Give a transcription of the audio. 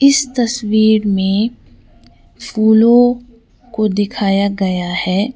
इस तस्वीर में फूलों को दिखाया गया है।